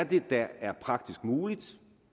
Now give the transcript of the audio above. det er der er praktisk muligt